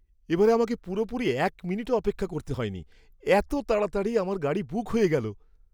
এবারে আমাকে পুরোপুরি এক মিনিটও অপেক্ষা করতে হয়নি। এত তাড়াতাড়ি আমার গাড়ি বুক হয়ে গেল!